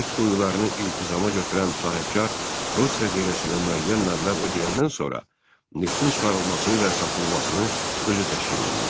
Neft quyularını iltizama götürən sahibkar Rus xəzinəsinə müəyyən məbləğ ödəyəndən sonra neftin çıxarılmasını və satılmasını özü təşkil edirdi.